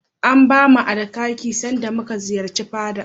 An bamu Alkaki sanda muka kai ziyara fada.